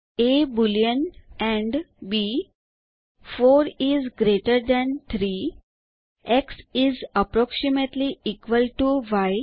A boolean and B 4 is greater than 3 X is approximately equal to y